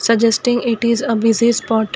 the justy it is a part.